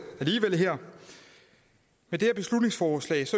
her med det her beslutningsforslag